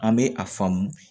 An bɛ a faamu